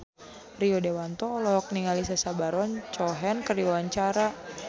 Rio Dewanto olohok ningali Sacha Baron Cohen keur diwawancara